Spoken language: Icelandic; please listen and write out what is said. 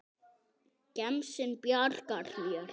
Gemsinn bjargar mér.